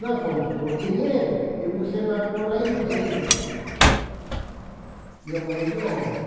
Nós vamos pôr dinheiro e você vai pôr a ideia e a mão de obra.